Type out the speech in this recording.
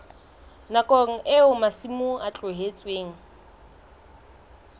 nakong eo masimo a tlohetsweng